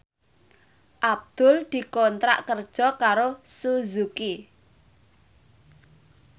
Abdul dikontrak kerja karo Suzuki